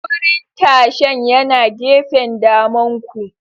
Wurin tashan yana gefen damanku.